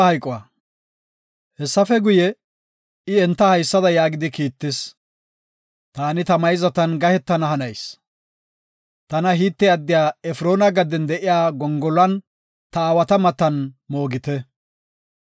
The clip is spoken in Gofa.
Hessafe guye, I enta haysada yaagidi kiittis; “Taani ta mayzatan gahetana hanayis. Tana Hite addiya Efroona gaden de7iya gongoluwan ta aawata matan moogite.